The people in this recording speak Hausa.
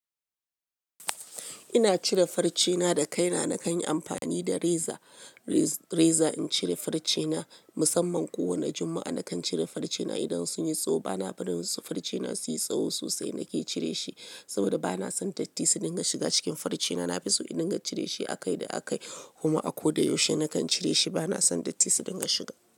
Ina cire farcena da kaina, nakan yi amfani da reza. Reza in cire farcena, musamman kowani na Juma'a, nakan cire farcena idan sun yi tsawo. Bana barin su farcena su yi tsawo sosai nake cire shi, saboda bana son datti su dinga shiga cikin farcena. Nafiso in dinga cire shi akai da akai, kuma a ko da yaushe nakan cire shi. Bana son dattisu dinga shiga.